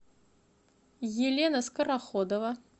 елена скороходова